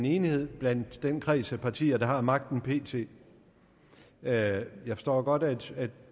enighed blandt den kreds af partier der har magten pt jeg forstår godt at